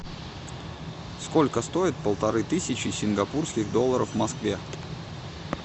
сколько стоит полторы тысячи сингапурских долларов в москве